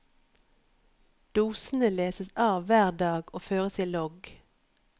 Dosene leses av hver dag og føres i logg.